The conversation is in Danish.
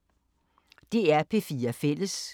DR P4 Fælles